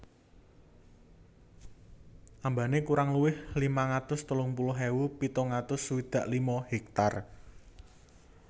Ambane kurang luwih limang atus telung puluh ewu pitung atus swidak lima hektar